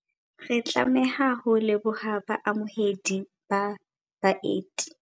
Re tlameha ho leboha baamohedi ba baeti.